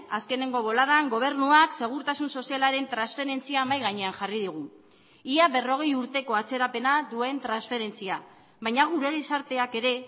azkeneko boladan gobernuak segurtasun sozialaren transferentzia mahai gainean jarri digu ia berrogei urteko atzerapena duen transferentzia baina gure gizarteak ere